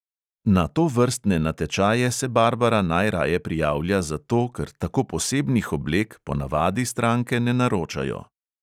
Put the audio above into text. Na tovrstne natečaje se barbara najraje prijavlja zato, ker tako posebnih oblek po navadi stranke ne naročajo.